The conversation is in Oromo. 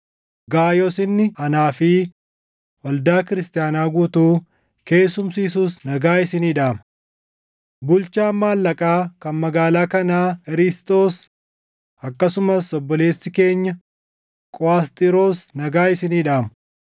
Gaayoos inni anaa fi waldaa Kiristaanaa guutuu keessumsiisus nagaa isinii dhaama. Bulchaan maallaqaa kan magaalaa kanaa Erisxoos, akkasumas obboleessi keenya Quʼasxiroos nagaa isinii dhaamu. [ 24 Ayyaanni Gooftaa keenya Yesuus Kiristoos isin hunda wajjin haa taʼu.] + 16:24 Luqqisaan 24 waraabbilee tokko tokko qofa keessatti argama.